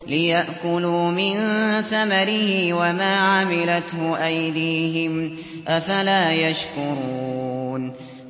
لِيَأْكُلُوا مِن ثَمَرِهِ وَمَا عَمِلَتْهُ أَيْدِيهِمْ ۖ أَفَلَا يَشْكُرُونَ